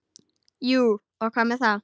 Jú, og hvað með það?